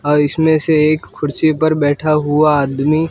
इसमें से एक कुर्सी पर बैठा हुआ आदमी--